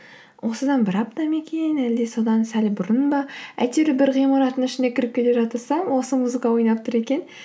осыдан бір апта ма екен әлде содан сәл бұрын ба әйтеуір бір ғимараттың ішіне кіріп келе жатырсам осы музыка ойнап тұр екен